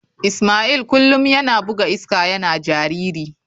Ismail kullum yana buga iska yana jariri.